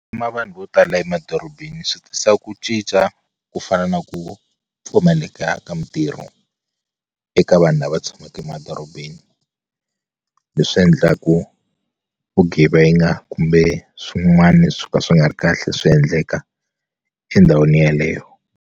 vanhu vo tala emadorobeni swi tisa ku cinca ku fana na ku pfumaleka ka mintirho eka vanhu lava tshamaka emadorobeni leswi endlaku vugevenga kumbe swin'wani swo ka swi nga ri kahle swi endleka endhawini yaleyo.